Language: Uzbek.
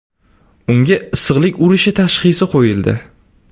Unga issiqlik urishi tashxisi qo‘yildi.